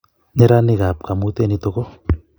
nyeranikab kamutie nito ko: